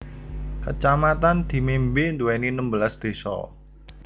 Kacamatan Dimembe nduwèni enem belas désa